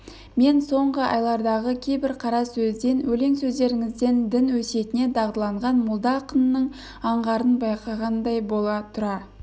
мен соңғы айлардағы кейбір қара сөзден өлең сөздеріңізден дін өсиетіне дағдыланған молда ақынның аңғарын байқағандай бола тұра